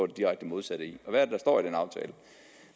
direkte modsatte hvad